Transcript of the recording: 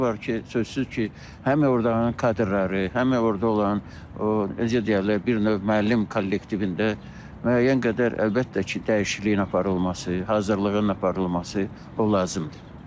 Elələri var ki, sözsüz ki, həm ordakı kadrları, həm orda olan, o necə deyərlər, bir növ müəllim kollektivində müəyyən qədər əlbəttə ki, dəyişikliyin aparılması, hazırlığın aparılması o lazımdır.